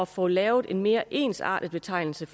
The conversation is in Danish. få lavet en mere ensartet betegnelse